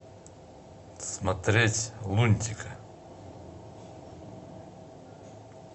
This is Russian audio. смотреть лунтика